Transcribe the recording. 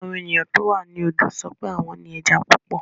Àwọn ènìyàn tó wà ní odò sọ pé àwọn ní ẹja púpọ̀.